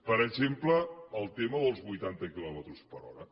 per exemple el tema dels vuitanta quilòmetres per hora